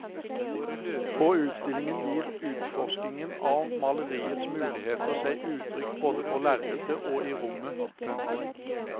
På utstillingen gir utforskningen av maleriets muligheter seg uttrykk både på lerretet og i rommet. punktum